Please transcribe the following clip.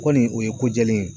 Kɔni o ye ko jɛlen ye.